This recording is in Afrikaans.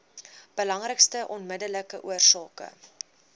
belangrikste onmiddellike oorsake